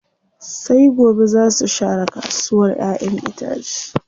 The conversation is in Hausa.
Sai gobe zaa su share kasuwa ƴaƴen itace.